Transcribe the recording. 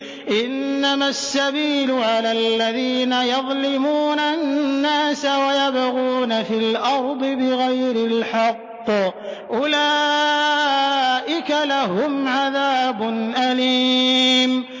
إِنَّمَا السَّبِيلُ عَلَى الَّذِينَ يَظْلِمُونَ النَّاسَ وَيَبْغُونَ فِي الْأَرْضِ بِغَيْرِ الْحَقِّ ۚ أُولَٰئِكَ لَهُمْ عَذَابٌ أَلِيمٌ